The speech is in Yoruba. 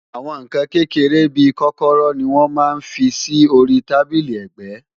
Àwọn nǹkan kékeré bí i kọ́kọ́rọ́ ni wọ́n máa ń fi sí orí tábílì ẹ̀gbẹ́